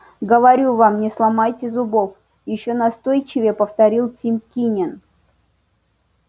говорю вам не сломайте зубов ещё настойчивее повторил тим кинем